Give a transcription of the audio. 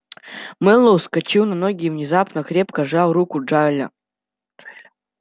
мэллоу вскочил на ноги и внезапно крепко сжал руку джаэля